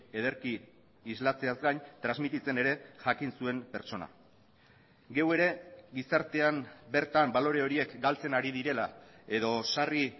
ederki islatzeaz gain transmititzen ere jakin zuen pertsona geu ere gizartean bertan balore horiek galtzen ari direla edo sarri